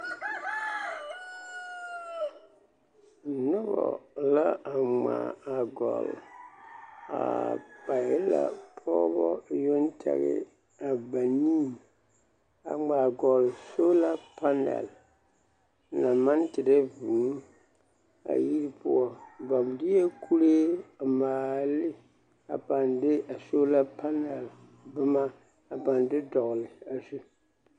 Nobɔ la a ŋmaa a gɔlle a ba e la pɔgebɔ yoŋ tɛge a banii a ŋmaa gɔlle sola panɛl naŋ maŋ terɛ vūū a yiri poɔ ba deɛ kuree a maale ne a pãã de a sola panɛl boma a pãã de dɔgele a zu.